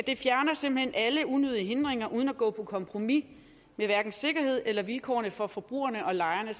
det fjerner simpelt hen alle unødige hindringer uden at gå på kompromis med hverken sikkerhed eller vilkårene for forbrugerne og lejerne